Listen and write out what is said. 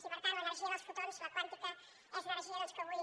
i per tant l’energia dels fotons la quàntica és una energia que avui